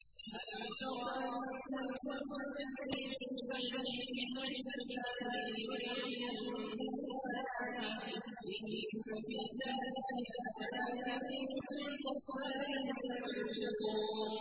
أَلَمْ تَرَ أَنَّ الْفُلْكَ تَجْرِي فِي الْبَحْرِ بِنِعْمَتِ اللَّهِ لِيُرِيَكُم مِّنْ آيَاتِهِ ۚ إِنَّ فِي ذَٰلِكَ لَآيَاتٍ لِّكُلِّ صَبَّارٍ شَكُورٍ